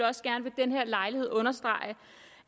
også gerne ved den her lejlighed understrege